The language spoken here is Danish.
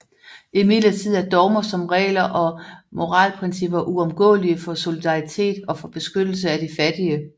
Imidlertid er dogmer som regler og moralprincipper uomgåelige for solidaritet og for beskyttelse af de fattige